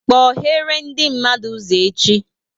Kpoghere ndị mmadụ ụzọ echi!